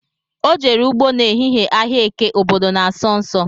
Ọ jere ụgbọ na ehihie ahịa eke obodo na-asọ nsọ